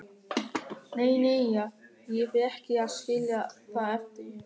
Nei, nei, ég fer ekki að skilja það eftir.